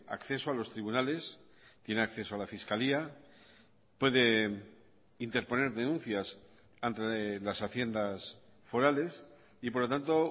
acceso a los tribunales tiene acceso a la fiscalía puede interponer denuncias ante las haciendas forales y por lo tanto